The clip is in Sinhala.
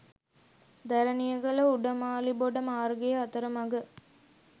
දැරණියගල උඩමාලිබොඩ මාර්ගයේ අතරමග